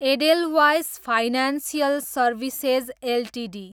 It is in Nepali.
Edelweiss financial services Ltd